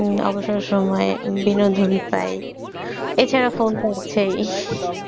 হম অবসর সময়ে বিনোদন চাই, এছাড়া phone তো আছেই!